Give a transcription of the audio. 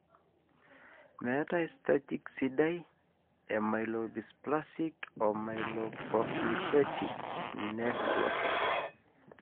meetae staging sidai e Myelodysplastic/myeloproliferative neoplasms.